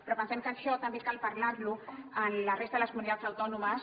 però pensem que això també cal parlar ho amb la resta de les comunitats autònomes